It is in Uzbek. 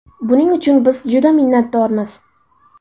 Buning uchun biz juda minnatdormiz.